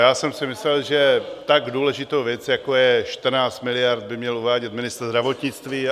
Já jsem si myslel, že tak důležitou věc, jako je 14 miliard, by měl uvádět ministr zdravotnictví.